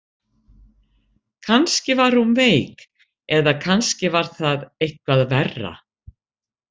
Kannski var hún veik eða kannski var það eitthvað verra.